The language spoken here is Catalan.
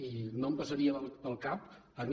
i no em passaria pel cap a mi